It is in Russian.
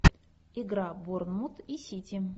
игра борнмут и сити